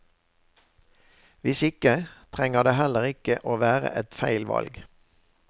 Hvis ikke, trenger det heller ikke å være et feil valg.